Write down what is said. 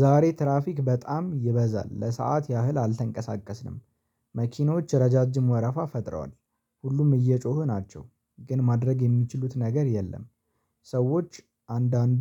ዛሬ ትራፊክ በጣም ይበዛል። ለሰአት ያህል አልተንቀሳቀስንም። መኪኖች ረጃጅም ወረፋ ፈጥረዋል። ሁሉም እየጮሁ ናቸው ግን ማድረግ የሚችሉት ነገር የለም። ሰዎች አንድአንዱ